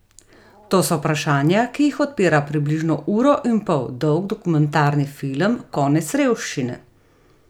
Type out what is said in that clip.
To so vprašanja, ki jih odpira približno uro in pol dolg dokumentarni film Konec revščine?